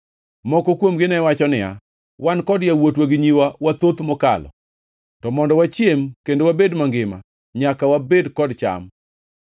Moko kuomgi ne wacho niya, “Wan kod yawuotwa gi nyiwa wathoth mokalo; to mondo wachiem kendo wabed mangima, nyaka wabed kod cham.”